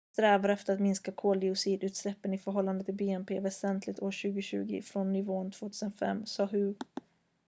"""vi strävar efter att minska koldioxidutsläppen i förhållande till bnp väsentligt år 2020 från nivån 2005" sade hu.